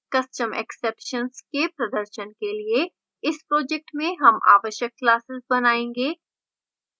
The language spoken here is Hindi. custom exceptions के प्रदर्शन के लिए इस project में हम आवश्यक classes बनायेंगे